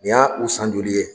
Nin ya u san joli ye?